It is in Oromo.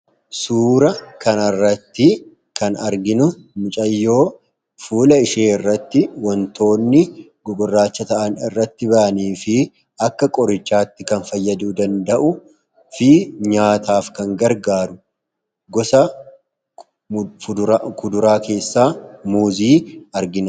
suura kan irratti kan arginu micayyoo fuula ishee irratti wantoonni gugurraacha ta'an irratti ba'anii fi akka qorichaatti kan fayyaduu danda'u fi nyaataaf kan gargaaru gosa kuduraa keessaa muuzii arginu